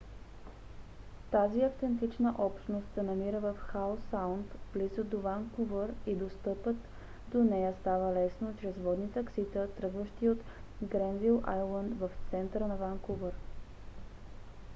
тази автентична общност се намира в хау саунд близо до ванкувър и достъпът до нея става лесно чрез водни таксита тръгващи от гренвил айлънд в центъра на ванкувър